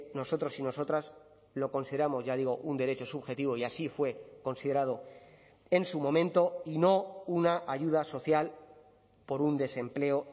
nosotros y nosotras lo consideramos ya digo un derecho subjetivo y así fue considerado en su momento y no una ayuda social por un desempleo